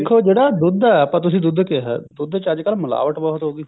ਤੇ ਜਿਹੜਾ ਦੁੱਧ ਹੈ ਆਪਾਂ ਤੁਸੀਂ ਦੁੱਧ ਕਿਹਾ ਦੁੱਧ ਚ ਅੱਜਕਲ ਮਿਲਾਵਟ ਬਹੁਤ ਹੋ ਗਈ